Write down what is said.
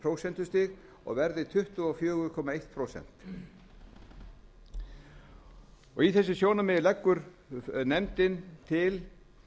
prósentustig og verði tuttugu og fjögur komma eitt prósent út frá þessu sjónarmiði leggur nefndin til